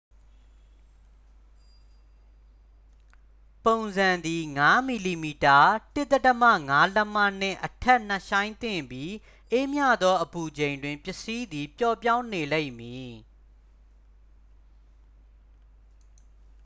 ပုံစံသည် ၅ mm ၁/၅ လက်မ နှင့်အထက် နက်ရှိုင်းသင့်ပြီး အေးမြသောအပူချိန်တွင် ပစ္စည်းသည် ပျော့ပြောင်းနေလိမ့်မည်။